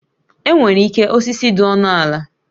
E nwerike osisi dị ọnụ ala